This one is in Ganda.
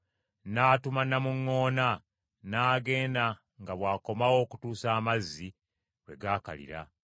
n’atuma namuŋŋoona n’agenda nga bw’akomawo okutuusa amazzi lwe gaakalira.